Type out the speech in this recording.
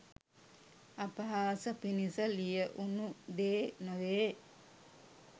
අපහාස පිනිස ලියවුනු දේ නොවේ